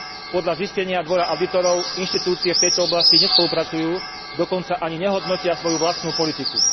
Podľa zistenia Dvora audítorov inštitúcie v tejto oblasti nespolupracujú, dokonca ani nehodnotia svoju vlastnú politiku.